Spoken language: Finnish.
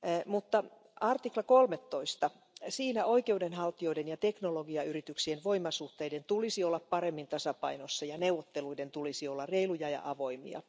Mutta artiklassa 13 oikeudenhaltijoiden ja teknologiayrityksien voimasuhteiden tulisi olla paremmin tasapainossa ja neuvotteluiden tulisi olla reiluja ja avoimia.